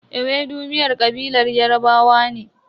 Ewedu miyar kabilar Yarbawa ne.